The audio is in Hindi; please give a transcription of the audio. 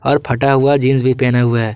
और फटा हुआ जींस भी पहेना हुआ है।